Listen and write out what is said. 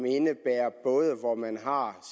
indebærer hvor man har